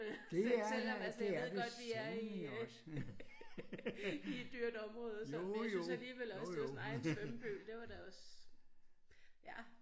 Selv selvom altså jeg ved godt vi er i øh i et dyrt område så men jeg synes alligevel også det var sådan ej en svømmepøl det var da også ja